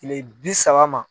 Tile bi saba ma.